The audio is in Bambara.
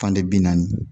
Fan de bi naani